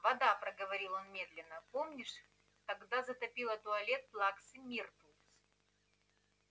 вода проговорил он медленно помнишь тогда затопило туалет плаксы миртл